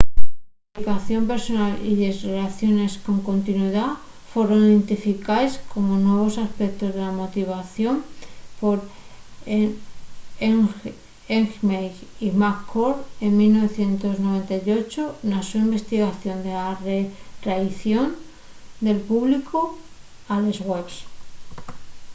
la implicación personal y les rellaciones con continuidá foron identificaes como nuevos aspectos de la motivación por eighmey y mccord 1998 na so investigación de la reaición del públicu a les webs